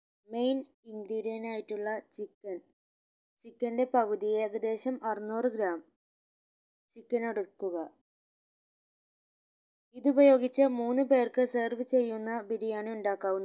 main ingredient ആയിട്ടുള്ള chicken chicken ന്റെ പകുതി ഏകദേശം അറുന്നൂറ് gram chicken എടുക്കുക ഇത് ഉപയോഗിച്ച് മൂന്ന് പേർക്ക് serve ചെയ്യുന്ന ബിരിയാണി ഉണ്ടാക്കാവുന്ന